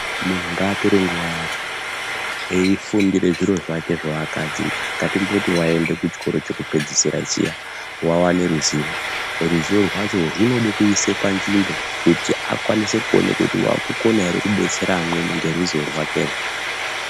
Munhu ngaatore nguwa yake eiifundire zviro zvake zvaakadzidza ngatimboti waenda kuchikora chake chekupedzisira chiya waone ruzivo ruzivo rwacho runoda kuiswe panzvimbo kuti akwanise kuona kuti waakukone ere kudetsera amweni ngeruziwo rwakerwo.